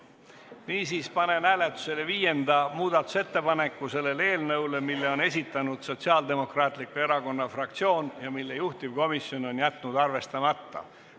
Niisiis paneme hääletusele viienda muudatusettepaneku selle eelnõu kohta, mille on esitanud Sotsiaaldemokraatliku Erakonna fraktsioon ja mille juhtivkomisjon on jätnud arvestamata.